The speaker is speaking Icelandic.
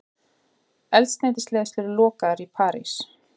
Eldsneytisleiðslur lokaðar í París